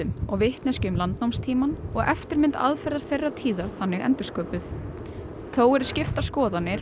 og vitneskju um landnámstímann og eftirmynd aðferða þeirrar tíðar þannig endursköpuð þó eru skiptar skoðanir og